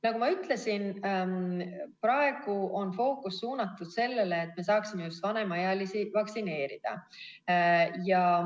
Nagu ma ütlesin, siis praegu on fookus suunatud sellele, et me saaksime just vanemaealisi vaktsineerida.